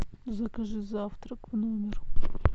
закажи завтрак в номер